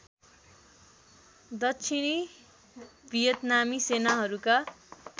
दक्षिणी भियतनामी सेनाहरूका